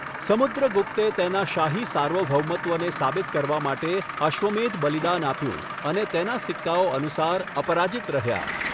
સમુદ્રગુપ્તે તેના શાહી સાર્વભૌમત્વને સાબિત કરવા માટે અશ્વમેધ બલિદાન આપ્યું અને તેના સિક્કાઓ અનુસાર, અપરાજિત રહ્યા.